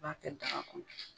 I b'a kɛ daga kɔnɔ.